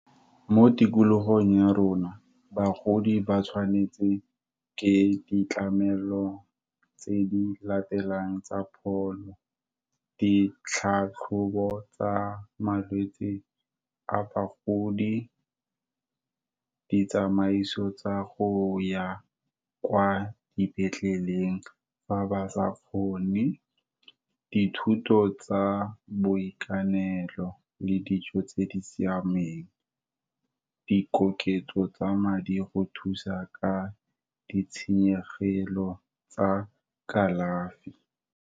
Mo tikologong ya rona, bagodi ba tshwanetse ke ditlamelo tse di latelang tsa pholo, ditlhatlhobo tsa malwetsi a bagodi, ditsamaiso tsa go ya kwa dipetleleng, fa ba sa kgone. Dithuto tsa boikanelo, le dijo tse di siameng, di koketso tsa madi go thusa ka ditshenyegelo tsa kalafi.